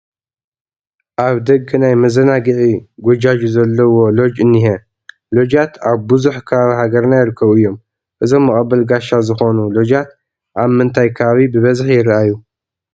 ኣብ ደገ ናይ መዘናግዒ ጎጃጁ ዘለውዎ ሎጅ እኒሀ፡፡ ሎጃት ኣብ ብዙሕ ከባቢ ሃገርና ይርከቡ እዮም፡፡ እዞም መቐበሊ ጋሻ ዝኾኑ ሎጃት ኣብ ምንታይ ከባቢ ብብዝሒ ይርአዩ?